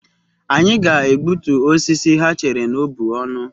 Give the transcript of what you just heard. Anyị ga-egbutu osisi ha chere na ọ bụ ọnụ.